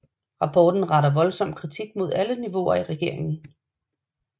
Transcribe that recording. Rapporten retter voldsom kritik mod alle niveauer i regeringen